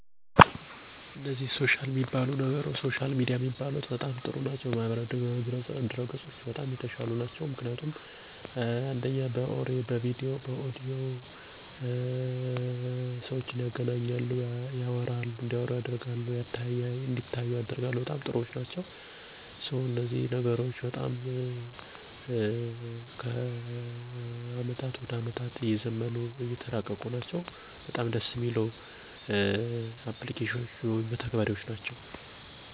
አንደኛ፦ ፌስቡክ ,ቴሌግራም ሁለተኛ፦ በርቀት የተገደበ እዳይሆኑ አድርገው አሻሽሏቸዋል ሶስት፦ በድምፅ ,በምስልና በፁህፍ አራተኛ፦ ቀለል ያለእዲሆን አድርጎታል